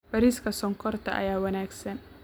Beerista Sonkorta ayaa wanaagsan